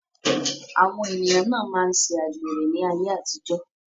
Àwọn ènìyàn na máa ṣe àgbèrè ní ayé àtijó.